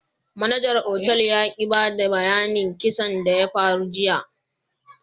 Manajar otal ya ki bada bayyanin kissan da ya faru jiya.